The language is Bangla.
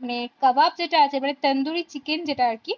মানে কাবাব যেটা আছে মানে তান্দুরি chicken যেটা আর কি